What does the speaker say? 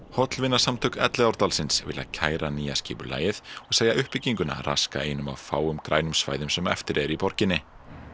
hollvinasamtök Elliðaárdalsins vilja kæra nýja skipulagið og segja uppbygginguna raska einum af fáum grænum svæðum sem eftir eru í borginni